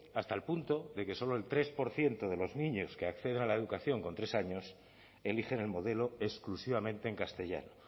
hasta el punto de que solo el tres por ciento de los niños que acceden a la educación con tres años eligen el modelo exclusivamente en castellano